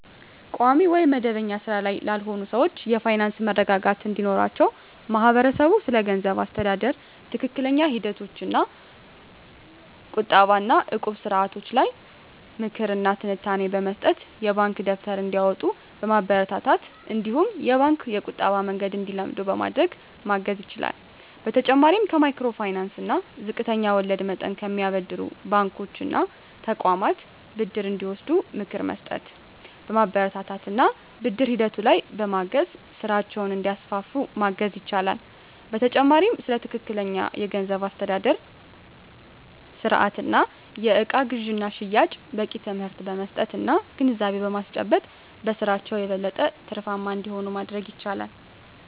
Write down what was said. ቋሚ ወይም መደበኛ ሥራ ላይ ላልሆኑ ሰዎች የፋይናንስ መረጋጋት እንዲኖራቸው ማህበረሰቡ ስለገንዘብ አስተዳደር ትክክለኛ ሂደቶች እንደ ቁጠባ እና እቁብ ስርዓቶች ላይ ምክር እና ትንታኔ በመስጠት፣ የባንክ ደብተር እንዲያወጡ በማበረታታት እነዲሁም የባንክ የቁጠባ መንገድን እንዲለምዱ በማድረግ ማገዝ ይችላል። በተጨማሪም ከማይክሮ ፋይናንስ እና ዝቅተኛ ወለድ መጠን ከሚያበድሩ ባንኮች እና ተቋማት ብድር እንዲወስዱ ምክር በመስጠት፣ በማበረታታት እና ብድር ሂደቱ ላይም በማገዝ ስራቸውን እንዲያስፋፉ ማገዝ ይቻላል። በተጨማሪም ስለ ትክክለኛ የገንዘብ አስተዳደር ስርአት እና የእቃ ግዥና ሽያጭ በቂ ትምህርት በመስጠት እና ግንዛቤ በማስጨበጥ በስራቸው የበለጠ ትርፋማ እንዲሆኑ ማድረግ ይቻላል።